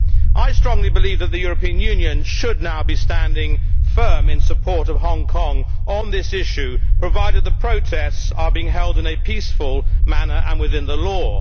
I strongly believe that the European Union should now be standing firm in support of Hong Kong on this issue, provided the protests are being held in a peaceful manner and within the law.